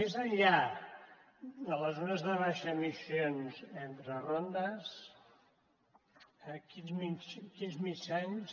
més enllà de les zones de baixes emissions entre rondes quins mitjans